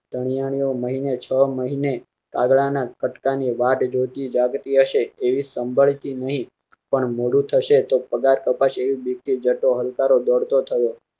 ધણીય મહિ ને છ મહિ ને કાગળના કટકા ની વાટ જોતી જાગ તી હશે એવી સાંભળી નહીં પણ મોડું થશે તો પગાર કપાશે એવી ભિક થઈ જતો હલકારો દોડતો થયો